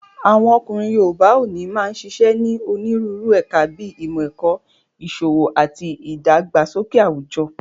Àwọn ọkùnrin yoòbá òní máa n ṣiṣẹ́ ní onírúurú ẹ̀ka bíi ìmọ̀-ẹ̀kọ́, ìṣòwò ati ìdàgbàsókè àwùjọ